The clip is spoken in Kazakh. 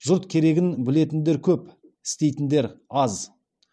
жұрт керегін білетіндер көп істейтіндер аз